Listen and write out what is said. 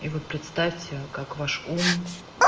и вы представьте как ваш ум